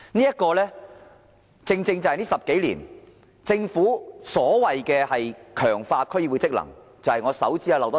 這正正就是過去10多年來，政府所謂強化區議會職能的做法。